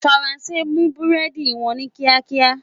Faranse mú búrẹ́dì wọn ní kíkankíkan.